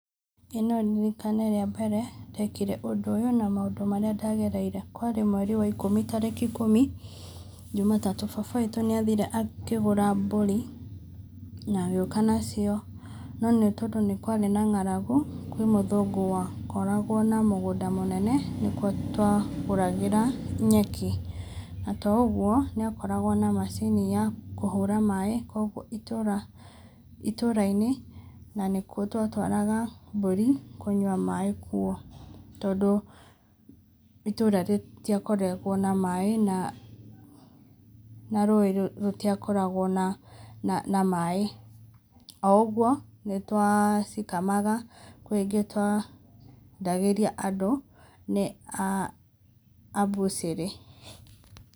ĩ no ndirikane rĩa mbere ndekĩre ũndũ ũyũ na maũndũ marĩa ndagereire kwarĩ mweri wa ikũmĩ tarĩki ikũmi jũmatatũ ,baba witũ nĩ athire akĩgũra mbũri na agĩũka nacio no nĩ tondũ nĩkwarĩ na ng'aragũ, kwĩ mũthũngũ wakoragwo na mũgũnda mũnene nĩkuo twagũragĩra nyeki na to ũgo nĩ akoragwo na macini ya kũhũra maĩ kũogũo itũra itũra inĩ na nĩkuo twatwaga mbũrĩ kũnyũa maĩ kũo tondũ itũra rĩtĩakoragwo na maĩ na na rũĩ rũtiakoragwo na maĩ ,o ũgwo nĩtwacikamaga kwĩ ingĩ twendagĩria andũ nĩ a mbũcirĩ .